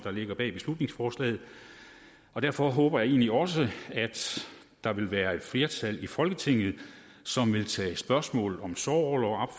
ligger bag beslutningsforslaget og derfor håber jeg egentlig også at der vil være et flertal i folketinget som vil tage spørgsmålet om sorgorlov